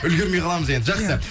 үлгірмей қаламыз енді жақсы